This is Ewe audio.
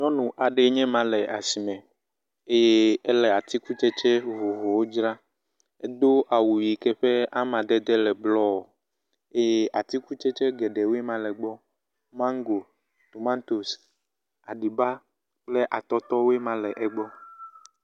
Nyɔnu aɖee nye ma le asi me eye ele atikutsetse vovovowo dzram. Edo awu yike ƒe amadede le blɔ eye atikutsetse geɖewoe ma le egbɔ. Mago, tomatosi, aɖiba, kple atɔtɔ woe ma le egbɔ.